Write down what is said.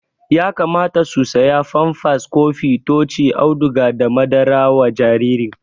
Yakamata su siya famfas, kofi ,tochi, auduga da madara wa jaririn